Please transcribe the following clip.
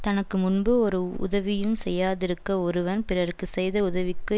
தனக்கு முன்பு ஓரு உதவியும் செய்யாதிருக்க ஒருவன் பிறர்க்கு செய்த உதவிக்கு